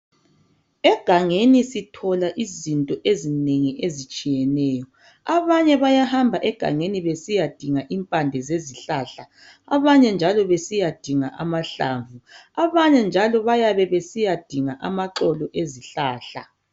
Egangeni sithola izinto ezinengi ezitshiyeneyo. Abanye bayahamba egangeni besiyadinga impande zezihlahla abanye njalo besiyadinga amahlamvu, abanye njalo bayabe besiya dinga amaxolo ezihlahla.